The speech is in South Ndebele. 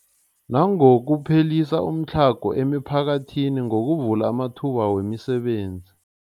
Nangokuphelisa umtlhago emiphakathini ngokuvula amathuba wemisebenzi.